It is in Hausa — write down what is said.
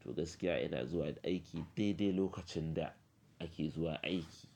To gaskiya ina zuwa aiki dai dai lokacin da ake zuwa aiki.